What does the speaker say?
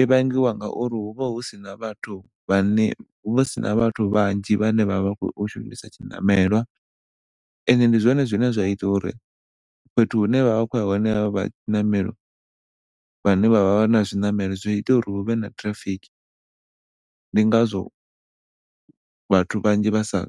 I vhangiwa ngauri huvha husina vhathu vhane huvha husina vhathu vhanzhi vhane vha vha vha khou shumisa tshiṋamelwa ende ndi zwone zwine zwa ita uri fhethu hune vha vha vha kho ya hone havha vha tshiṋamelo vhane vhavha vhana zwiṋamelo zwi ita uri huvha na traffic, ndi ngazwo vhathu vhanzhi vhasa